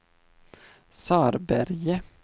Sörberge